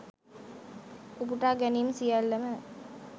උපුටාගැනීම් සියල්ලම